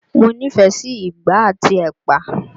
Mo nífẹ̀ẹ́ sí ìgbá àti ẹ̀pà